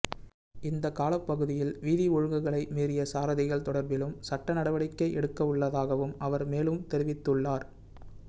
இந்தக் காலப்பகுதியில் வீதி ஒழுங்குகளை மீறிய சாரதிகள் தொடர்பிலும் சட்ட நடவடிக்கை எடுக்கவுள்ளதாகவும் அவர் மேலும் தெரிவித்துள்ளார்